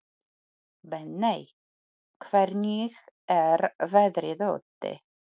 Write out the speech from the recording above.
Benney, hvernig er veðrið úti?